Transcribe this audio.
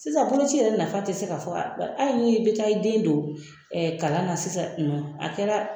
Sisan bolo ci yɛrɛ nafa te se ka fɔ ka ban. Hali ni be taa i den don ɛɛ kalan na sisan a kɛra